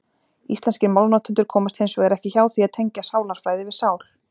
Íslenskir málnotendur komast hins vegar ekki hjá því að tengja sálarfræði við sál.